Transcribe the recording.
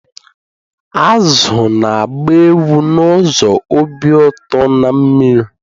Azụ azụ na-agba egwu n'ụzọ obi ụtọ na mmiri